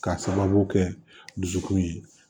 K'a sababu kɛ dusukun ye